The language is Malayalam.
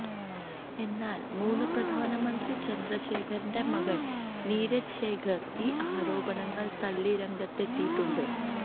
എന്നാല് മുന് പ്രധാനമന്ത്രി ചന്ദ്രശേഖരന്റെ മകന് നീരജ് ശേഖര് ഈ ആരോപണങ്ങള് തള്ളി രംഗത്തെത്തിയിട്ടുണ്ട്